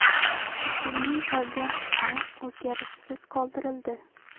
Hukmning qolgan qismi o‘zgarishsiz qoldirildi.